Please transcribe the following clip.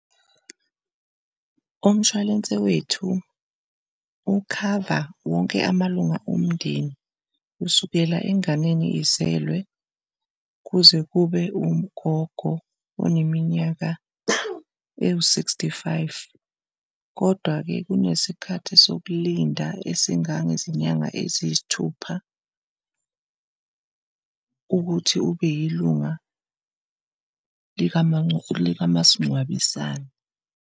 Umshwalense wethu ukhava wonke amalunga omndeni kusukela enganeni izelwe kuze kube ugogo oneminyaka ewu-sixty five, kodwa-ke kunesikhathi sokulinda esingangezinyanga eziyisithupha ukuthi ube yilunga likamasingcwabisane.